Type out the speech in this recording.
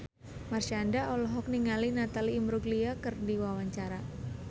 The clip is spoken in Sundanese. Marshanda olohok ningali Natalie Imbruglia keur diwawancara